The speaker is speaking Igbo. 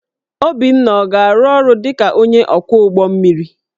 Obinna ọ ga-arụ ọrụ dị ka onye ọkwọ ụgbọ mmiri?